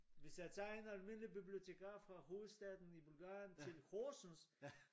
Hvis jeg tager en almindelig bibliotekar fra hovedstaden i Bulgarien til Horsen